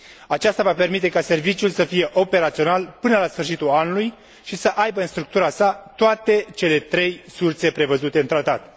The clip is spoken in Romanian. Aceasta va permite ca serviciul să fie operațional până la sfârșitul anului și să aibă în structura sa toate cele trei surse prevăzute în Tratat.